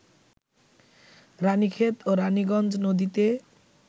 রাণীক্ষেত ও রাণীগঞ্জ নদীতে